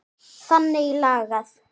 Þannig lagað.